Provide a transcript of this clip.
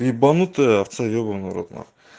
ебанутая овца ебаный в рот нахуй